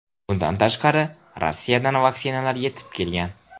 Bundan tashqari, Rossiyadan vaksinalar yetib kelgan.